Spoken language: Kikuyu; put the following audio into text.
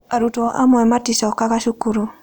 Arutwo amwe maticokaga cukuru.